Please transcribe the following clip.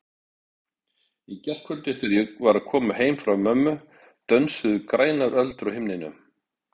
Í gærkvöldi þegar ég var að koma heim frá mömmu dönsuðu grænar öldur á himninum.